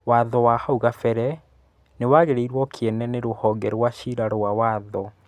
Watho wa hau kabere nĩwagĩirwo kiene nĩ rũhonge rwa cira rwa watho.